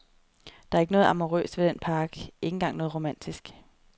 Der er ikke noget amourøst ved den park, ikke engang noget romantisk.